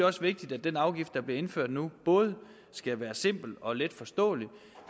også vigtigt at den afgift der bliver indført nu både skal være simpel og let forståelig